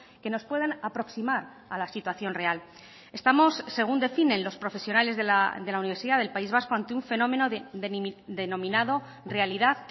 que nos puedan aproximar a la situación real estamos según definen los profesionales de la universidad del país vasco ante un fenómeno denominado realidad